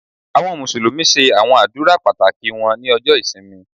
Àwọn Mùsùlùmí ṣe àwọn àdúrà pàtàkì wọn ní ọjọ ìsinmi.